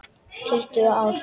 Tuttugu ár!